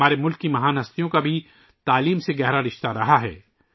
ہمارے ملک کی عظیم شخصیات کا بھی تعلیم سے گہرا تعلق رہا ہے